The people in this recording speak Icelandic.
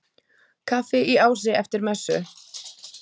Kaffi í Ási eftir messu.